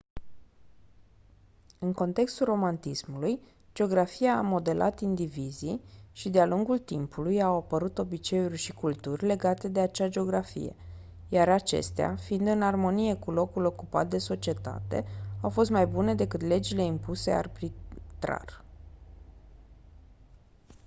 în contextul romantismului geografia a modelat indivizii și de-a lungul timpului au apărut obiceiuri și culturi legate de acea geografie iar acestea fiind în armonie cu locul ocupat de societate au fost mai bune decât legile impuse arbitrar